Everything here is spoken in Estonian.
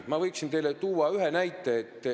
Ma võin teile tuua ühe näite.